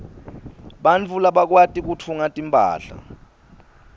bantfu labakwati kutfunga timphahla